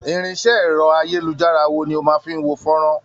Irinṣẹ́ ẹ̀rọ-ayélujára wo ni o fi máa ń wo fọ́nrán?